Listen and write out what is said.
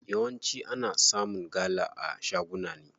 Yawanci ana samun gala a shaguna ne.